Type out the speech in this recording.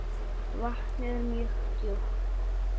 Vatnið er mjög djúpt.